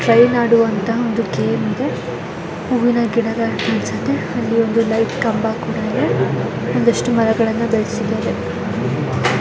Train ಆಡುವಂತಹ ಒಂದು game ಇದೆ ಹೂವಿನ ಗಿಡಗಳು ಕಾಣಿಸುತ್ತೆ ಅಲ್ಲಿ ಒಂದು ಲೈಟ್ ಕಂಬ ಕೂಡ ಇದೆ ಒಂದಿಷ್ಟು ಮರಗಳನ್ನ ಬೆಳೆಸಿದ್ದಾರೆ.